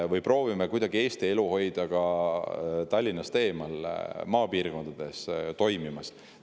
Või proovime hoida kuidagi ka Tallinnast eemal, maapiirkondades, elu toimimas.